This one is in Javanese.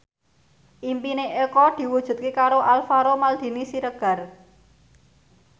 impine Eko diwujudke karo Alvaro Maldini Siregar